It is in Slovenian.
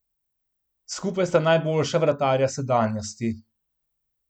Skupaj sta najboljša vratarja sedanjosti.